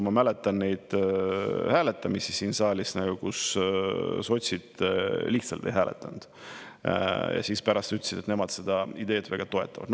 Ma mäletan neid hääletamisi siin saalis, kui sotsid lihtsalt ei hääletanud ja siis pärast ütlesid, et nemad seda ideed väga toetavad.